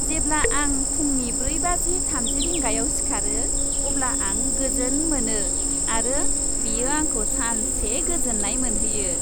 जेब्ला आं फुंनि ब्रै बाजि थामजि रिंगायाव सिखारो, अब्ला आं गोजोन मोनो आरो बेयो आंखौ सानसे गोजोन्नाय मोनहोयो।